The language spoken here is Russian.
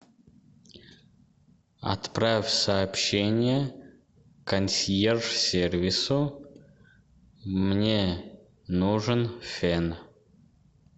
отправь сообщение консьерж сервису мне нужен фен